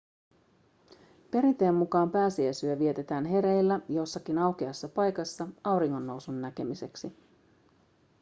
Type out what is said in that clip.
perinteen mukaan pääsiäisyö vietetään hereillä jossakin aukeassa paikassa auringonnousun näkemiseksi